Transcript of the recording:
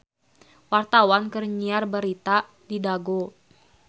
Wartawan keur nyiar berita di Dago